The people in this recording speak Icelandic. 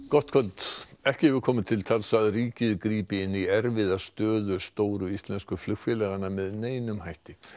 gott kvöld ekki hefur komið til tals að ríkið grípi inn í erfiða stöðu stóru íslensku flugfélaganna með neinum hætti